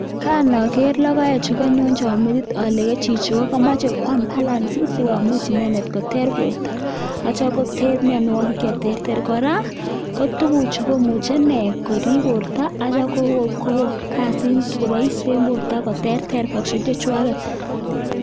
Kanoker lokoechu konyonchon metit olee ko chichii komoche kwaam balance sikomuch inendet koter borto ak kityo koter mionwokik cheterter, kora ko tukuchu komuche nee korib borto akityo koko kasit en borto koterter function chechechwaket.